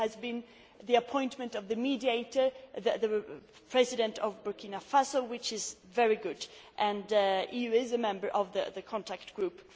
There has been the appointment of the mediator, the President of Burkina Faso, which is very good, and he is a member of the contact group.